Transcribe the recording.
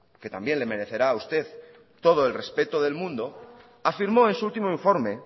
que también le merecerá a usted todo el respeto del mundo afirmó en su ultimo informe